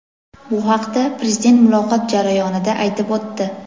Bu haqda Prezident muloqot jarayonida aytib o‘tdi.